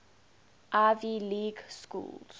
ivy league schools